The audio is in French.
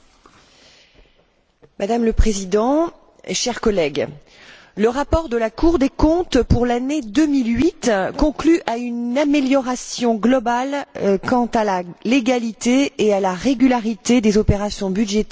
Madame la Présidente, chers collègues, le rapport de la Cour des comptes pour l'année 2008 conclut à une amélioration globale quant à la légalité et à la régularité des opérations budgétaires de l'Union européenne.